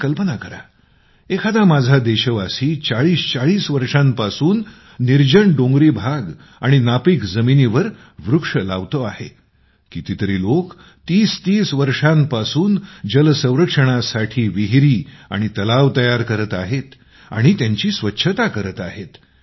आपण कल्पना करा एखादा माझा देशवासी ४०४० वर्षांपासून निर्जन डोंगरी भाग आणि नापीक जमिनीवर वृक्ष लावतो आहे कितीही लोक ३०३० वर्षांपासून जल संरक्षणासाठी विहीरी आणि तलाव तयार करत आहेत आणि त्यांची स्वच्छता करत आहेत